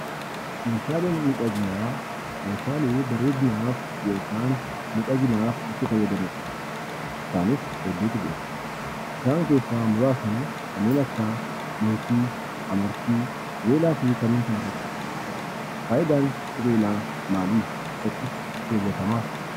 Meeshaalee midhaginaa meeshalee bareedinaaf yookaan midhaginaaf itti faayadamnudha. Isaanis hedduutu jiraa. Isaan keessa muurasni Meetii, Amartii, Qubelaa fi kannen kana faakkatani. Faayidaan qubelaa maali, eessattis kewwatama?